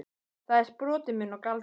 Þau eru sproti minn og galdur.